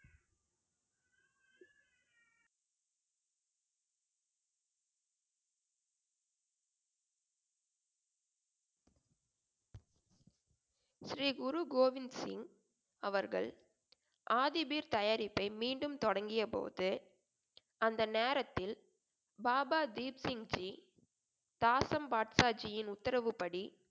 ஸ்ரீ குரு கோவிந்த் சிங் அவர்கள் ஆதி பீர் தயாரிப்பை மீண்டும் தொடங்கியபோது அந்த நேரத்தில் பாபா தீப் சிங்ஜி தாசம்பாட்சாஜியின் உத்தரவுப்படி